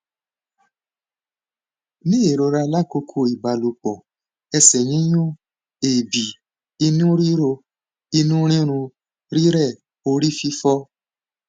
ni irora lakoko ibalopọ ẹsẹ yiyún eebi inu riro inu rirun rirẹ ori fifo